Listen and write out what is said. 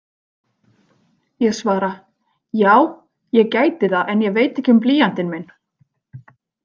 Ég svara: Já, ég gæti það en ég veit ekki um blýantinn minn.